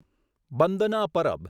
Bandna Parab